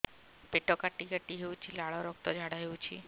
ପେଟ କାଟି କାଟି ହେଉଛି ଲାଳ ରକ୍ତ ଝାଡା ହେଉଛି